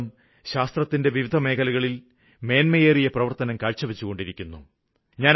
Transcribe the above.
ഭാരതം ശാസ്ത്രത്തിന്റെ വിവിധമേഖലകളില് മേന്മയേറിയ പ്രവര്ത്തനം കാഴ്ചവച്ചുകൊണ്ടിരിക്കുന്നു